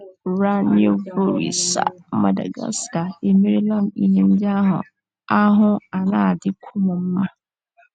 Ranaivoarisoa, Madagascar. * Emere m ihe ndị ahụ, ahụ́ ana - adịkwu m mma. ”